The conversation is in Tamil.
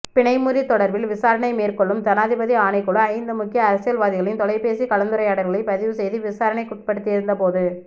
பிணைமுறி தொடர்பில் விசாரணை மேற்கொள்ளும் ஜனாதிபதி ஆணைக்குழு ஐந்து முக்கிய அரசியல்வாதிகளின் தொலைபேசி கலந்துரையாடல்களை பதிவுசெய்து விசாரணைக்குட்படுத்தியிருந்தபோது